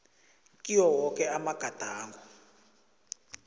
kiwo woke amagadango